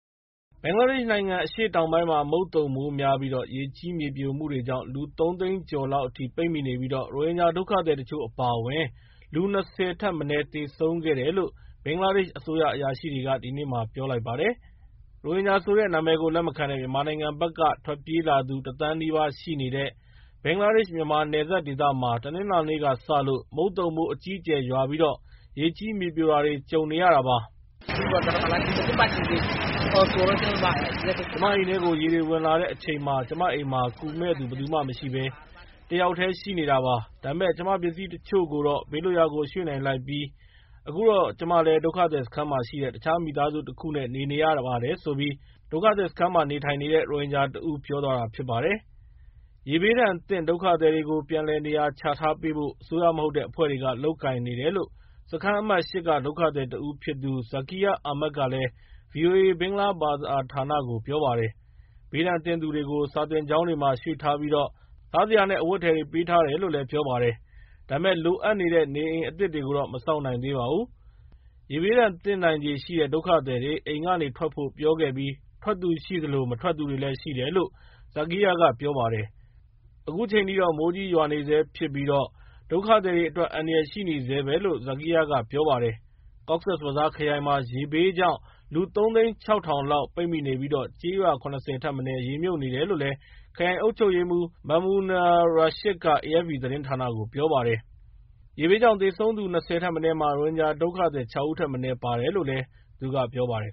ဘင်္ဂလားဒေ့ရှ်နိုင်ငံ အရှေ့တောင်ပိုင်းမှာ မုန်သုန်မိုးများပြီး ရေကြီးမြေပြိုမှုတွေကြောင့် လူ ၃ သိန်းကျော်လောက် ပိတ်မိနေပြီး ရိုဟင်ဂျာ ဒုက္ခသည်တချို့အပါအဝင် လူ ၂၀ ထက်မနည်း သေဆုံးခဲ့တယ်လို့ ဘင်္ဂလားဒေ့ရှ် အစိုးရအရာရှိတွေက ဒီကနေ့ ပြောပါတယ်။ ရိုဟင်ဂျာဆိုတဲ့ နာမည်ကို လက်မခံတဲ့ မြန်မာနိုင်ငံဘက်က ထွက်ပြေးလာသူ ၁ သန်းနီးပါးရှိနေတဲ့ ဘင်္ဂလားဒေ့ရှ်-မြန်မာ နယ်စပ်ဒေသမှာ တနင်္လာနေ့ကစလို့ မုတ်သုန်မိုး အကြီးအကျယ်ရွာပြီး ရေကြီး မြေပြိုတာတွေ ကြုံနေရတာပါ။ "ကျမအိမ်ထဲကို ရေတွေဝင်လာတဲ့အချိန်မှာ ကျမအိမ်မှာ ကူမယ့်သူ ဘယ်သူမရှိဘဲ ကျမတယောက်တည်းရှိနေတာပါ။ ဒါပေမဲ့ ကျမပစ္စည်းတချို့ကိုတော့ ဘေးလွတ်ရာကိုရွှေ့နိုင်လိုက်ပြီးတော့ အခုတော့ ကျမလည်း ဒုက္ခသည်စခန်းမှာရှိတဲ့ တခြားမိသားစုတခုနဲ့ နေပါတယ်" လို့ ဒုက္ခသည်စခန်းမှာနေထိုင်နေတဲ့ ရိုဟင်ဂျာတဦးကပြောပါတယ်။ ရေဘေးဒဏ်သင့် ဒုက္ခသည်တွေကို ပြန်လည်နေရာချထားပေးဖို့ အစိုးရမဟုတ်တဲ့အဖွဲ့တွေက လုပ်ကိုင်နေတယ်လို့ စခန်းအမှတ် ၈ က ဒုက္ခသည်တဦးဖြစ်သူ Zakir Ahmed က ဗွီအိုအေ ဘင်္ဂလားဘာသာဌာနကို ပြောပါတယ်။ ဘေးဒဏ်သင့်သူတွေကို စာသင်ကျောင်းတွေမှာ ရွှေ့ထားပြီးတော့ စားစရာနဲ့ အဝတ်အထည်တွေ ပေးထားတယ်လို့လည်းပြောပါတယ်။ ဒါပေမယ့် လိုအပ်တဲ့ နေအိမ်အသစ်တွေကိုတော့ မဆောက်နိုင်သေးပါဘူး။ ရေဘေးဒဏ်သင့်နိုင်ခြေရှိတဲ့ ဒုက္ခသည်တွေ အိမ်ကထွက်ဖို့ ပြောခဲ့ပြီး ထွက်သူရှိသလို မထွက်သူတွေလည်းရှိတယ်လို့ Zakir ကပြောပါတယ်။ ခုချိန်ထိ မိုးကြီးရွာနေဆဲဖြစ်ပြီး ဒုက္ခသည်တွေအတွက် အန္တရာယ်ရှိနေဆဲပဲလို့လည်း Zakir ကပြောပါတယ်။ Cox's Bazar ခရိုင်မှာ ရေဘေးကြောင့် လူ ၃ သိန်း ၆ ထောင်လောက် ပိတ်မိနေပြီး ကျေးရွာ ၇၀ ထက်မနည်း ရေမြှုပ်နေတယ်လို့ ခရိုင်အုပ်ချုပ်ရေးမှူး Mamunur Rashid က AFP သတင်းဌာနကို ပြောပါတယ်။ ရေဘေးကြောင့် သေဆုံးသူ ၂၀ ထက်မနည်းမှာ ရိုဟင်ဂျာဒုက္ခသည် ၆ ဦးထက်မနည်း ပါတယ်လို့လည်း သူက ပြောပါတယ်